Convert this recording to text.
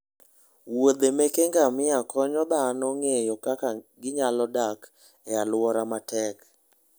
Wuodhe meke ngamia konyo dhano ng'eyo kaka ginyalo dak e alwora matek.